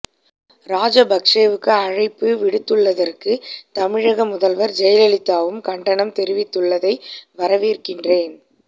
ராஜபக்சவுக்கு அழைப்பு விடுத்துள்ளதற்கு தமிழக முதல்வர் ஜெயலலிதாவும் கண்டனம் தெரிவித்துள்ளதை வரவேற்கிறேன்